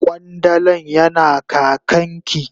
Kwandalan yana kakan ki.